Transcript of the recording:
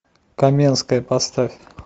каменская поставь